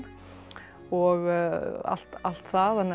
og allt allt það